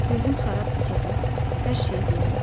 Gözüm xarabdırsa da, hər şeyi görürəm.